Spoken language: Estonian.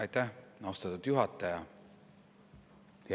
Aitäh, austatud juhataja!